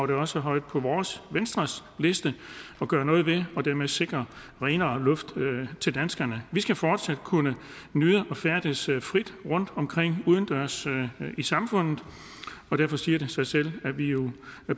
det også højt på vores venstres liste at gøre noget ved og dermed sikre renere luft til danskerne vi skal fortsat kunne nyde at færdes frit rundtomkring udendørs i samfundet derfor siger det sig selv at vi jo